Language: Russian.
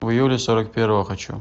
в июле сорок первого хочу